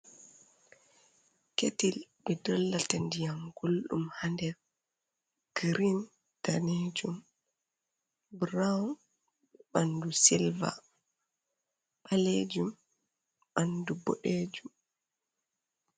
Ketil ɓe dollata ndiyam gulɗum ha nder. Green, danejum, brown be ɓandu silver, ɓalejum ɓandu boɗejum.